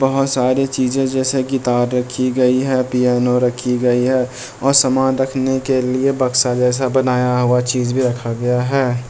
बहुत सारी चीजें जैसे की तार रखी गयी है पियानो रखी गई है और सामान रखने के लिए बक्सा जैसा बनाया हुआ चीज़ भी रखा गया है।